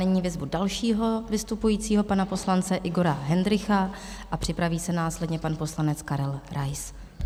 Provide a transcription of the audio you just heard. Nyní vyzvu dalšího vystupujícího, pana poslance Igora Hendrycha, a připraví se následně pan poslanec Karel Rais.